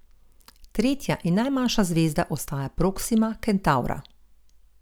Tretja in najmanjša zvezda ostaja Proksima Kentavra.